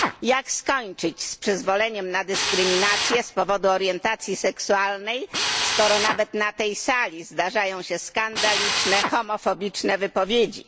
Jak skończyć z przyzwoleniem na dyskryminację z powodu orientacji seksualnej, skoro nawet na tej sali zdarzają się skandaliczne, homofobiczne, wypowiedzi?